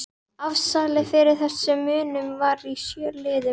Afsalið fyrir þessum munum var í sjö liðum